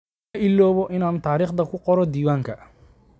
Ma iloobo inaan taariikhda ku qoro diiwaanka.